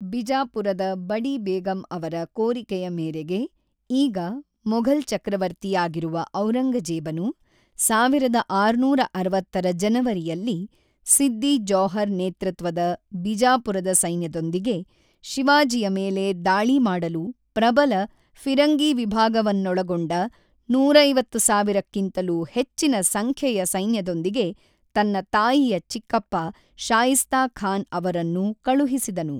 ಬಿಜಾಪುರದ ಬಡಿ ಬೇಗಂ ಅವರ ಕೋರಿಕೆಯ ಮೇರೆಗೆ, ಈಗ ಮೊಘಲ್ ಚಕ್ರವರ್ತಿಯಾಗಿರುವ ಔರಂಗಜೇಬನು, ಸಾವಿರದ ಆರುನೂರ ಅರವತ್ತರ ಜನವರಿಯಲ್ಲಿ, ಸಿದ್ದಿ ಜೌಹರ್ ನೇತೃತ್ವದ ಬಿಜಾಪುರದ ಸೈನ್ಯದೊಂದಿಗೆ ಶಿವಾಜಿಯ ಮೇಲೆ ದಾಳಿ ಮಾಡಲು ಪ್ರಬಲ ಫಿರಂಗಿ ವಿಭಾಗವನ್ನೊಳಗೊಂಡ ನೂರಐವತ್ತು ಸಾವಿರ ಕ್ಕಿಂತಲೂ ಹೆಚ್ಚಿನ ಸಂಖ್ಯೆಯ ಸೈನ್ಯದೊಂದಿಗೆ ತನ್ನ ತಾಯಿಯ ಚಿಕ್ಕಪ್ಪ ಶಾಯಿಸ್ತಾ ಖಾನ್ ಅವರನ್ನು ಕಳುಹಿಸಿದನು.